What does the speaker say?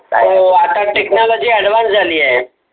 हो हो आता technology advance झाली आहे.